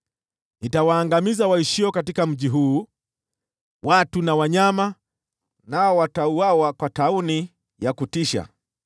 Nitawaangamiza waishio katika mji huu, watu na wanyama, nao watauawa kwa tauni ya kutisha.